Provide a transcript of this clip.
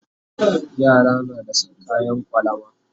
Yara na da San kayan kwalama